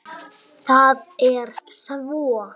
Það er svo.